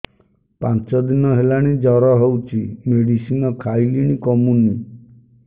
ପାଞ୍ଚ ଦିନ ହେଲାଣି ଜର ହଉଚି ମେଡିସିନ ଖାଇଲିଣି କମୁନି